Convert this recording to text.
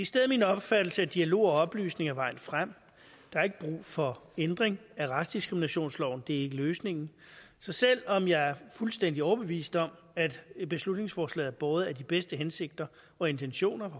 stedet min opfattelse at dialog og oplysning er vejen frem der er ikke brug for ændring af racediskriminationsloven det er ikke løsningen så selv om jeg er fuldstændig overbevist om at beslutningsforslaget er båret af de bedste hensigter og intentioner